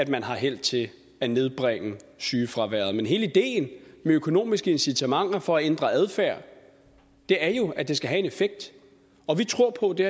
man har held til at nedbringe sygefraværet men hele ideen med økonomiske incitamenter for at ændre adfærd er jo at de skal have en effekt og vi tror på at det